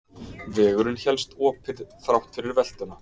Vegurinn hélst opinn þrátt fyrir veltuna